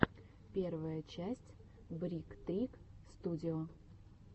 первая часть брик трик студио